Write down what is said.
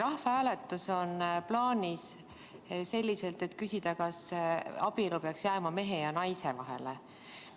Rahvahääletus on plaanis selliselt, et küsida, kas abielu peaks jääma mehe ja naise vahele.